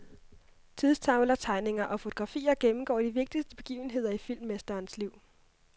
Tidstavler, tegninger og fotografier gennemgår de vigtigste begivenheder i filmmesterens liv.